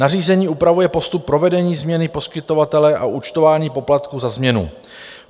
Nařízení upravuje postup provedení změny poskytovatele a účtování poplatků za změnu.